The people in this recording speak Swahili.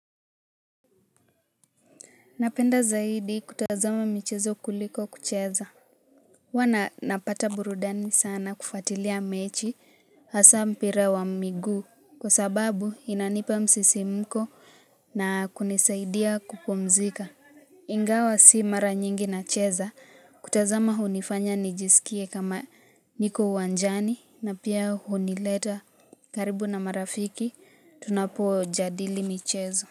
Napenda zaidi kutazama michezo kuliko kucheza. Huwa napata burudani sana kufuatilia mechi hasa mpira wa miguu kwa sababu inanipa msisimko na kunisaidia kupumzika. Ingawa si mara nyingi nacheza kutazama hunifanya nijisikie kama niko uwanjani na pia hunileta karibu na marafiki tunapojadili michezo.